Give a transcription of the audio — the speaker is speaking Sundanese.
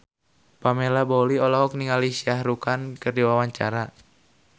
Pamela Bowie olohok ningali Shah Rukh Khan keur diwawancara